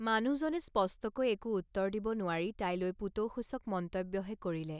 মানুহজনে স্পষ্টকৈ একো উত্তৰ দিব নোৱাৰি তাইলৈ পুতৌসূচক মন্তব্য়হে কৰিলে।